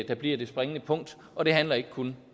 der bliver det springende punkt og det handler ikke kun